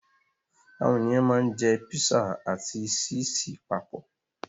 Àwọn ènìyàn ma ń jẹ́ písà ati síìsì papọ̀